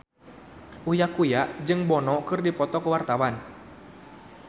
Uya Kuya jeung Bono keur dipoto ku wartawan